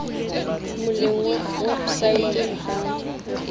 moleng wa wepsaete o ka